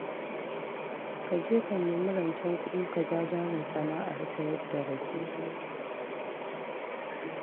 Ka je ka nemi rancen kuɗi ka ja jarin sana'ar sayar da rake.